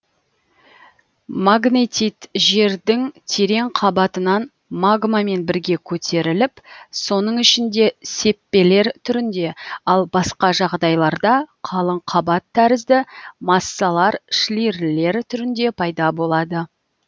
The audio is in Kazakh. магнетит жердің терең қабатынан магмамен бірге көтеріліп соның ішінде сеппелер түрінде ал басқа жағдайларда қалың қабат тәрізді массалар шлирлер түрінде пайда болады